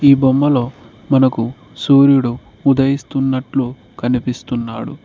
బొమ్మలు మనకు సూర్యుడు ఉదయిస్తున్నట్లు కనిపిస్తున్నాడు.